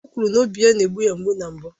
O kwuru na obi ya na-egbu ya mgbu na mbụ